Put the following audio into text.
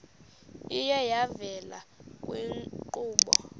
iye yavela kwiinkqubo